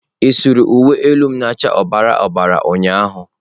Ị saara uwe elu m nke na acha ọbara ọbara ụnyahụ?